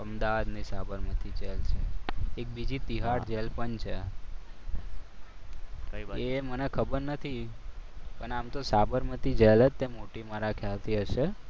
અમદાવાદની સાબરમતી જેલ છે એક બીજી તીયાર જેલ પણ છે. એ મને ખબર નથી પણ આમ તો સાબરમતી જેલ જ છે મોટી મારા ખ્યાલથી હશે.